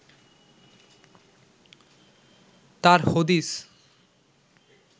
তার হদিস